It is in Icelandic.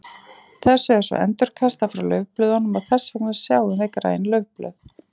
Þessu er svo endurkastað frá laufblöðunum og þess vegna sjáum við græn laufblöð.